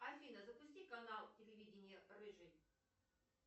афина запусти канал телевидения рыжий